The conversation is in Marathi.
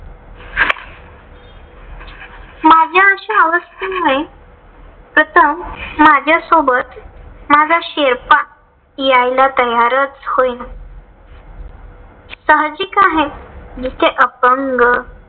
माझ्या अशा अवस्थेमुळे, प्रथम माझ्या सोबत माझा शेर्पा यायला तयारच होईना. साहजिक आहे जिथे अपंग